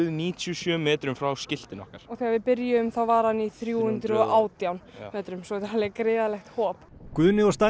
níutíu og sjö metrum frá skiltinu okkar og þegar við byrjuðum var hann í þrjú hundruð og átján metrum svo þetta er alveg gríðarlegt hop Guðni og